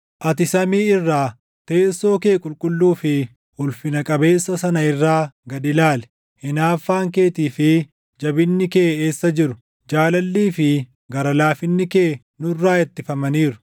Ati samii irraa, teessoo kee qulqulluu fi ulfina qabeessa sana irraa gad ilaali. Hinaaffaan keetii fi jabinni kee eessa jiru? Jaalallii fi gara laafinni kee nurraa ittifamaniiru.